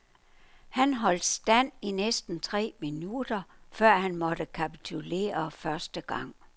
Han holdt stand i næsten tre minutter, før han måtte kapitulere første gang.